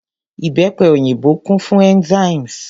Ìbẹ́pe òyìnbó kún fún enzymes.